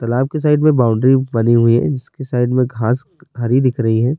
تالاب کی سائیڈ میں باؤنڈری بنی ہوئی ہے جس کی سائیڈ میں گھاس ہری دکھ رہی ہے-